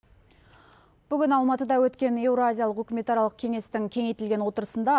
бүгін алматыда өткен евразиялық үкіметаралық кеңестің кеңейтілген отырысында